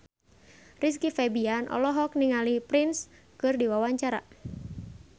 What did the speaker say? Rizky Febian olohok ningali Prince keur diwawancara